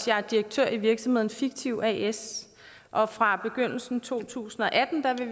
jeg er direktør i virksomheden fiktiv as og fra begyndelsen af to tusind og atten vil